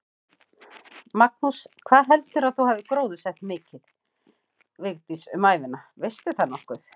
Magnús: Hvað heldurðu að þú hafir gróðursett mikið, Vigdís, um ævina, veistu það nokkuð?